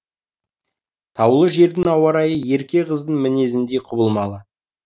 таулы жердің ауа райы ерке қыздың мінезіндей құбылмалы